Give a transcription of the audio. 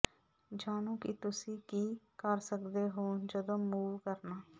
ਜਾਣੋ ਕਿ ਤੁਸੀਂ ਕੀ ਕਰ ਸਕਦੇ ਹੋ ਜਦੋਂ ਮੂਵ ਕਰਨਾ